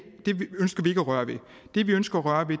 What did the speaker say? at røre ved det vi ønsker at røre ved